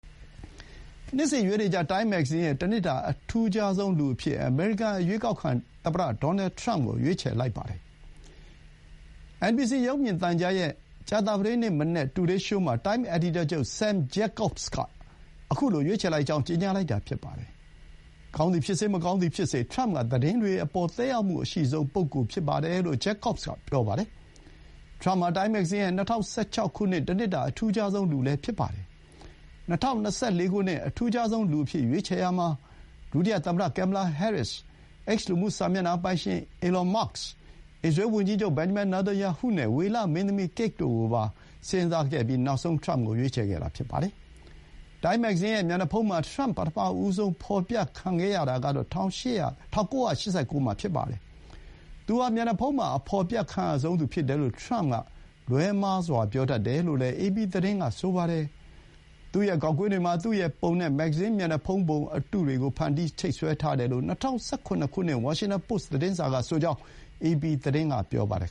နှစ်စဥ် ရွေးနေကျ တိုင်းမ်း မဂ္ဂဇင်းရဲ့ တနှစ်တာ အထူးခြားဆုံးလူအဖြစ် အမေရိကန် အရွေးကောက်ခံ သမ္မတ ဒေါ်နယ် ထရမ့်ကို ရွေးချယ်လိုက်ပါတယ်။ NBC ရုပ်မြင်သံကြားရဲ့ ကြာသပတေးနေ့မနက် တူဒေးရှိုးမှာ တိုင်းမ် အယ်ဒီတာချုပ် Sam Jacobs က ခုလို ရွေးချယ်လိုက်ကြောင်း ကြေညာလိုက်တာ ဖြစ်ပါတယ်။ ကောင်းသည်ဖြစ်စေ၊ မကောင်းသည်ဖြစ်စေ ထရမ့်က သတင်းတွေအပေါ် သက်ရောက်မှုအရှိဆုံး ပုဂ္ဂိုလ်ဖြစ်တယ်လို့ Jacobs က ပြောပါတယ်။ ထရမ့် ဟာ တိုင်းမဂ္ဂဇင်းရဲ့ ၂၀၁၆ နှစ် တနှစ်တာ အထူးခြားဆုံးလူ လည်း ဖြစ်ပါတယ်။ ၂၀၂၄ ခုနှစ် အထူးခြားဆုံးလူအဖြစ် ရွေးချယ်ရာမှာ ဒုတိယသမ္မတ ကင်မ်မလာ ဟဲရစ်စ်၊ X လူမှု စာမျက်နှာပိုင်ရှင် အီလွန် မာ့က်စ်၊ အစ္စရေးဝန်ကြီးချုပ် ဘင်ဂျမင် နေသန်ယာဟုနဲ့ ဝေလ မင်းသမီး ကိတ် တို့ကိုပါ စဥ်းစားခဲ့ပြီး နောက်ဆုံး ထရမ့်ကို ရွေးချယ်ခဲ့တာ ဖြစ်ပါတယ်။ တိုင်းမ်း မဂ္ဂဇင်းရဲ့ မျက်နှာဖုံးမှာ ထရမ့် ပထမဆုံး ဖော်ပြခံရတာကတော့ ၁၉၈၉ မှာ ဖြစ်ပါတယ်။ သူဟာ မျက်နှာဖုံးမှာ အဖော်ပြခံရဆုံးသူ ဖြစ်တယ်လို့ ထရမ့်က လွှဲမှားစွာ ပြောတတ်တယ်လို့လည်း အေပီသတင်းက ဆိုပါတယ်။ သူ့ရဲ့ ဂေါက်ကွင်းတွေမှာ သူ့ရဲ့ပုံနဲ့ မဂ္ဂဇင်း မျက်နှာဖုံးပုံအတုတွေကို ဖန်တီး ချိတ်ဆွဲထားတယ်လို့ ၂၀၁၇ ခုနှစ် ဝါရှင်တန်ပို့စ် သတင်းစာကဆိုကြောင်း အေပီသတင်းက ပြောပါတယ်